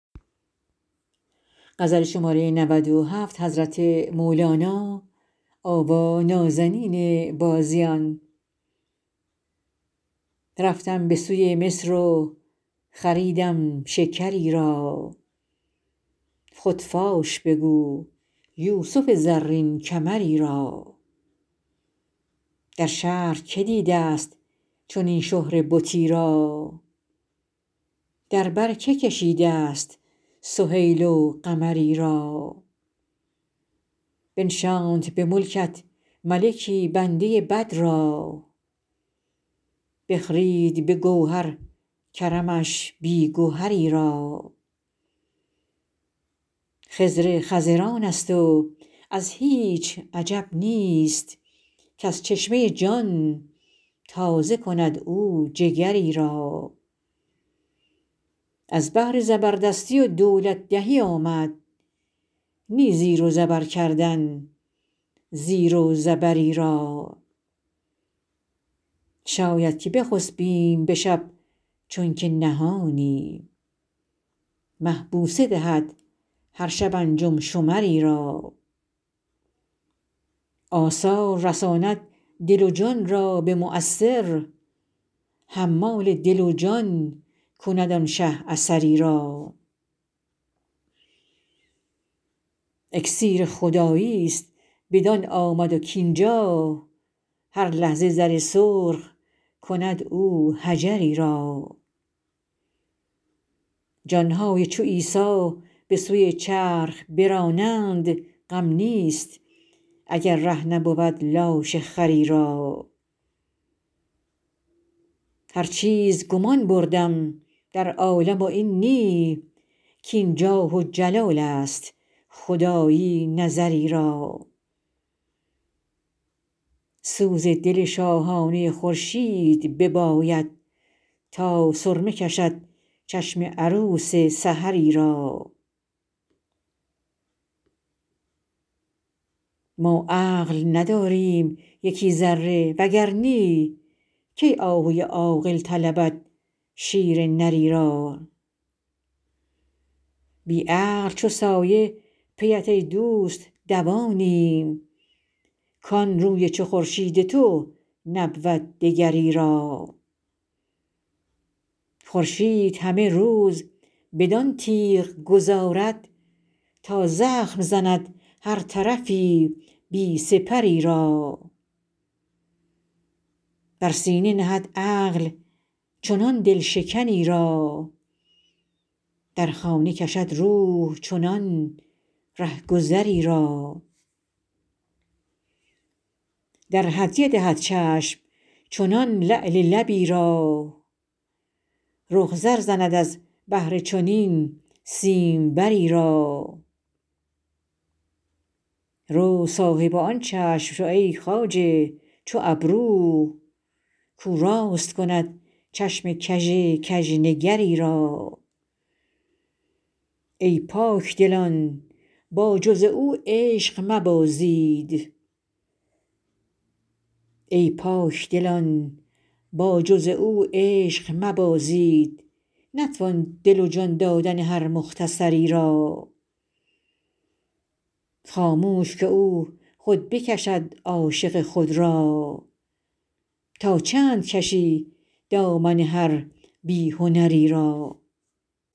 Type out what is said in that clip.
رفتم به سوی مصر و خریدم شکری را خود فاش بگو یوسف زرین کمری را در شهر که دیده ست چنین شهره بتی را در بر که کشیده ست سهیل و قمری را بنشاند به ملکت ملکی بنده بد را بخرید به گوهر کرمش بی گهری را خضر خضرانست و ازو هیچ عجب نیست کز چشمه جان تازه کند او جگری را از بهر زبردستی و دولت دهی آمد نی زیر و زبر کردن زیر و زبری را شاید که نخسپیم به شب چون که نهانی مه بوسه دهد هر شب انجم شمری را آثار رساند دل و جان را به مؤثر حمال دل و جان کند آن شه اثری را اکسیر خداییست بدان آمد کاین جا هر لحظه زر سرخ کند او حجری را جان های چو عیسی به سوی چرخ برانند غم نیست اگر ره نبود لاشه خری را هر چیز گمان بردم در عالم و این نی کاین جاه و جلالست خدایی نظری را سوز دل شاهانه خورشید بباید تا سرمه کشد چشم عروس سحری را ما عقل نداریم یکی ذره وگر نی کی آهوی عاقل طلبد شیر نری را بی عقل چو سایه پیت ای دوست دوانیم کان روی چو خورشید تو نبود دگری را خورشید همه روز بدان تیغ گذارد تا زخم زند هر طرفی بی سپری را بر سینه نهد عقل چنان دل شکنی را در خانه کشد روح چنان رهگذی را در هدیه دهد چشم چنان لعل لبی را رخ زر زند از بهر چنین سیمبری را رو صاحب آن چشم شو ای خواجه چو ابرو کاو راست کند چشم کژ کژنگری را ای پاک دلان با جز او عشق مبازید نتوان دل و جان دادن هر مختصری را خاموش که او خود بکشد عاشق خود را تا چند کشی دامن هر بی هنری را